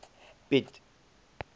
piet